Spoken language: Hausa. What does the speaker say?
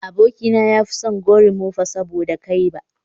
Abokina ya fi son gorimofa saboda ba kai ba